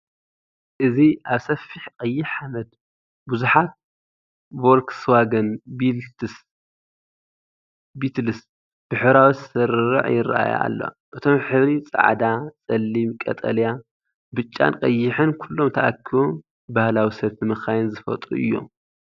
እዚ ኣብ ሰፊሕ ቀይሕ ሓመድ፡ ብዙሓት ቮልክስዋገን ቢትልስ ብሕብራዊ ስርርዕ ይረኣያ ኣለዋ። እቶም ሕብሪ ጻዕዳ፡ ጸሊም፡ ቀጠልያ፡ ብጫን ቀይሕን ኩሎም ተኣኪቦም ባህላዊ ሰልፊ መካይን ዝፈጥሩ እዮም።